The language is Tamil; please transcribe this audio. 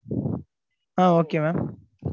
ah Okay mam